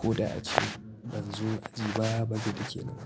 ko da a ce ban zo aji ba, ba zai dake ni ba.